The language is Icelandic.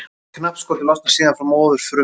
Knappskotið losnar síðan frá móðurfrumunni.